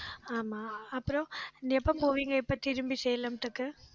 ஆமா, அப்புறம் எப்ப போவீங்க எப்ப திரும்பி சேலத்துக்கு